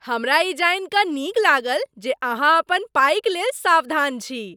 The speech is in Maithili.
हमरा ई जानि कऽ नीक लागल जे अहाँ अपन पाइक लेल सावधान छी।